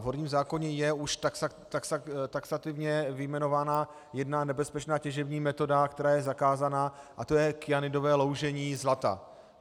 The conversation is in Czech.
V horním zákoně je už taxativně vyjmenována jedna nebezpečná těžební metoda, která je zakázána, a to je kyanidové loužení zlata.